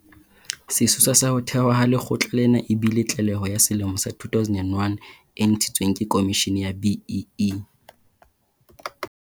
Sesosa sa ho thewa ha lekgotla lena e bile tlaleho ya selemo sa 2001 e ntshitsweng ke Khomishene ya BEE.